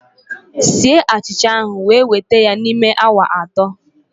sie achicha ahụ wee weta ya n'ime awa atọ!